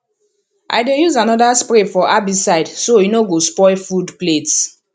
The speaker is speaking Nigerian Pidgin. i dey use another spray for herbicide so e no go spoil food plats